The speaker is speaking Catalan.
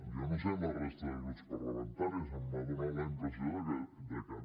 jo no sé amb la resta de grups parlamentaris m’ha donat la impressió de que no